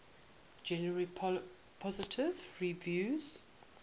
generally positive reviews